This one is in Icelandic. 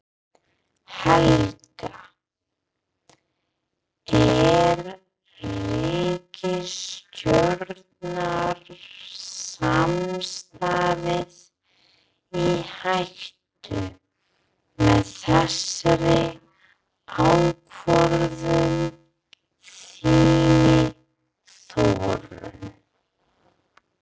Helga: Er ríkisstjórnarsamstarfið í hættu með þessari ákvörðun þinni Þórunn?